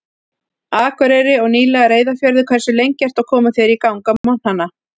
Akureyri og nýlega Reyðarfjörður Hversu lengi ertu að koma þér í gang á morgnanna?